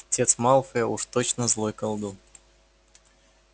отец малфоя уж точно злой колдун